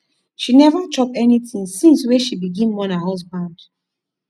she neva chop anytin since wey she begin mourn her husband